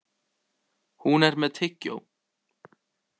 Hún er með tyggjó.